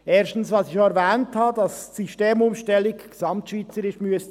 Erstens, wie ich erwähnt habe, müsste die Systemumstellung gesamtschweizerisch erfolgen.